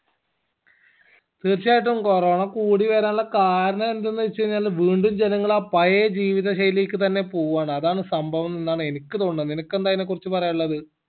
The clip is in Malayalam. തീർച്ചയായിട്ടും conona കൂടി വരാനുള്ള കാരണം എന്തെന്ന് വെച്ചാഴിഞ്ഞാല് വീണ്ടും ജനങ്ങള് ആ പഴയ ജീവിത ശൈലിക്കന്നെ പോവാണ് അതാണ് സംഭവം എന്നാണ് എനിക്ക് തോന്നണത് നിനക്ക് എന്താ അയിനാ കുറിച് പറയാനില്ലത്